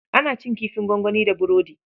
Ana cin kifin gwangwani da burodi.